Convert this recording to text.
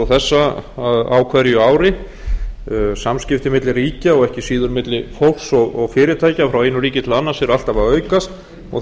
og þessa á hverju ári samskipti milli ríkja og ekki síður milli fólks og fyrirtækja frá einu ríki til annars eru alltaf að aukast og það